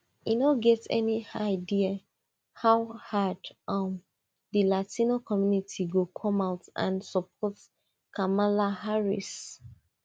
e no get any idea how hard um di latino community go come out and support kamala harris